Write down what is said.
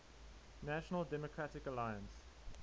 national democratic alliance